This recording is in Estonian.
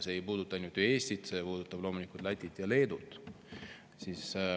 See ei puuduta ainult Eestit, see puudutab loomulikult ka Lätit ja Leedut.